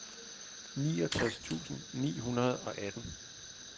niogtres tusind ni hundrede og atten